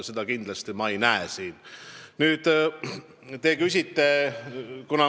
Seda kindlasti ei ole.